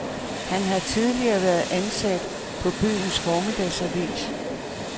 Han har tidligere været ansat på byens formiddagsavis.